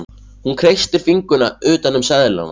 Hún kreistir fingurna utan um seðlana.